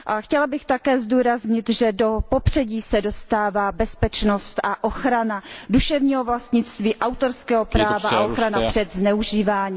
A chtěla bych také zdůraznit, že do popředí se dostává bezpečnost a ochrana duševního vlastnictví, autorského práva a ochrana před zneužíváním.